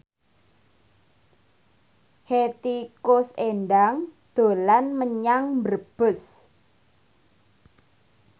Hetty Koes Endang dolan menyang Brebes